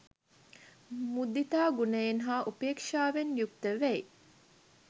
මුදිතා ගුණයෙන් හා උපේක්‍ෂාවෙන් යුක්ත වෙයි.